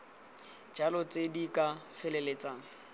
jalo tse di ka feleltsang